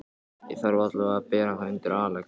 Ég þarf allavega að bera það undir Axel.